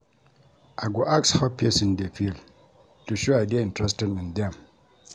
I go ask how pesin dey feel to show I dey interested in dem.